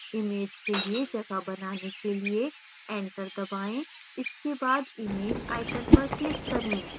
image के लिए जगह बनाने के लिए enter दबाएँ इसके बाद image icon पर click करें